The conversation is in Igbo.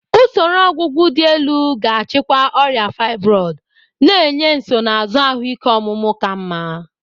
Usoro ọgwụgwọ dị elu ga-achịkwa ọrịa fibroid, na-enye nsonaazụ ahụike ọmụmụ ka mma.